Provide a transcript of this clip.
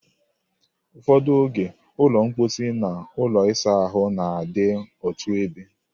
Ụfọdụ oge, ụlọ mposi na ụlọ ịsa ahụ na-adị otu ebe.